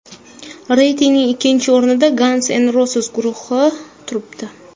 Reytingning ikkinchi o‘rnida Guns N’Roses guruhi turibdi.